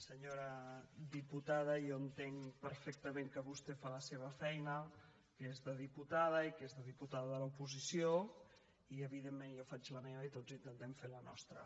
senyora diputada jo entenc perfectament que vostè fa la seva feina que és de diputada i que és de diputada de l’oposició i evidentment jo faig la meva i tots intentem fer la nostra